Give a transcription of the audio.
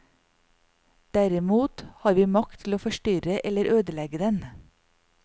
Derimot har vi makt til å forstyrre eller ødelegge den.